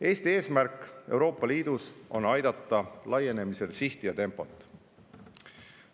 Eesti eesmärk Euroopa Liidus on aidata hoida laienemisel sihti ja tempot.